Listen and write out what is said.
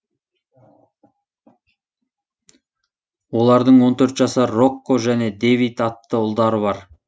олардың он төрт жасар рокко және дэвид атты ұлдары бар